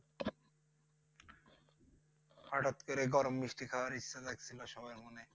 হঠাৎ করে গরম মিষ্টি খাওয়ার ইচ্ছে জাগছিল সবার মনে